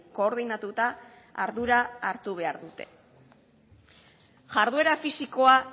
koordinatuta ardura hartu behar dute jarduera fisikoa